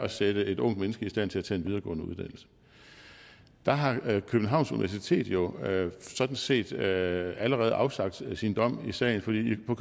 sætte et ungt menneske i stand til at tage en videregående uddannelse der har københavns universitet jo sådan set allerede afsagt sin dom i sagen fordi på